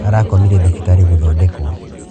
Arakomire thibitarĩ gũthondekwo.